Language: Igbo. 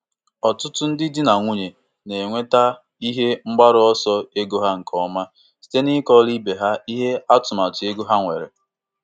Mgbe ha lebachara anya na mmefu ego nke ezinụlọ, ha kpebiri ịtụba otu puku dọla na ngbakwunye kwa nkeji afọ n'agwaghị ndị di ha.